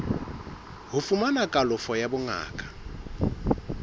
ho fumana kalafo ya bongaka